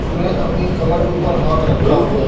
उसने अपनी कमर के ऊपर हाथ रखा हुआ है।